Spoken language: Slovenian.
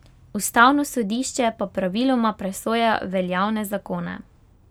Ustavno sodišče pa praviloma presoja veljavne zakone.